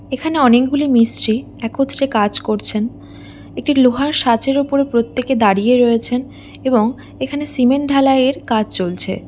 এখানে অনেকগুলি মিস্ত্রি একত্রে কাজ করছেন এটি লোহার সাজের উপর প্রত্যেককে দাঁড়িয়ে রয়েছেন এবং এখানে সিমেন্ট ঢালাইয়ের কাজ চলছে ।